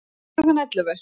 Klukkan ellefu